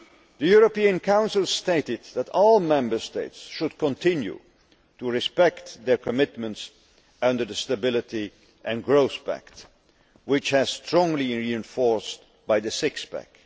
The European Council stated that all Member States should continue to respect their commitments under the Stability and Growth Pact, which has been strongly reinforced by the six pack.